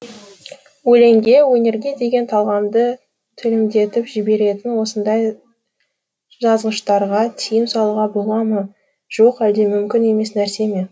өлеңге өнерге деген талғамды төмендетіп жіберетін осындай жазғыштарға тиым салуға бола ма жоқ әлде мүмкін емес нәрсе ме